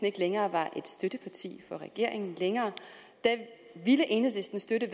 ikke længere er støtteparti for regeringen ville enhedslisten støtte